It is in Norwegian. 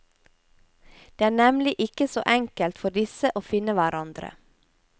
Det er nemlig ikke så enkelt for disse å finne hverandre.